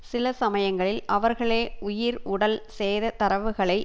சில சமயங்களில் அவர்களே உயிர் உடல் சேத தரவுகளை